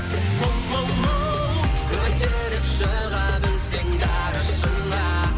охоу оу көтеріп шыға білсең дара шыңға